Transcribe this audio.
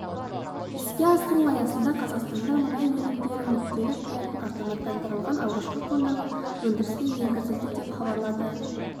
іске асыру аясында қазақстанда мұнай өнімдерін нүктелік құятын автоматтандырылған алғашқы қондырғы өндіріске енгізілді деп хабарлады